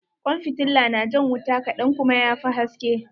Kwan fitilla na jan wuta kaɗan kuma ya fi haske.